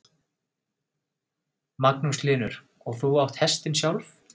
Magnús Hlynur: Og þú átt hestinn sjálf?